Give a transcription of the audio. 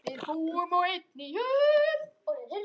Við búum á einni jörð.